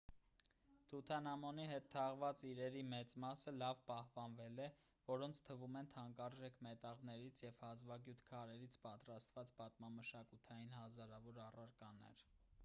թութանհամոնի հետ թաղված իրերի մեծ մասը լավ պահպանվել է որոնց թվում են թանկարժեք մետաղներից և հազվագյուտ քարերից պատրաստված պատմամշակութային հազարավոր առարկաներ